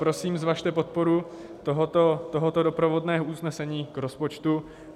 Prosím, zvažte podporu tohoto doprovodného usnesení k rozpočtu.